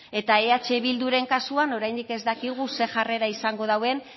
eta eh bilduren kasuan oraindik ez dakigu ze jarrera izango dauen